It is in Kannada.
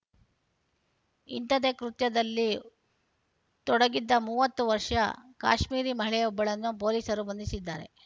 ಇಂಥದ್ದೇ ಕೃತ್ಯದಲ್ಲಿ ತೊಡಗಿದ್ದ ಮೂವತ್ತು ವರ್ಷದ ಕಾಶ್ಮೀರಿ ಮಹಿಳೆಯೊಬ್ಬಳನ್ನು ಪೊಲೀಸರು ಬಂಧಿಸಿದ್ದಾರೆ